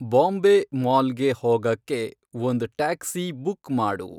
ಬಾಂಬೇ ಮಾಲ್ಗೆ ಹೋಗಕ್ಕೆ ಒಂದ್ ಟ್ಯಾಕ್ಸಿ ಬುಕ್ ಮಾಡು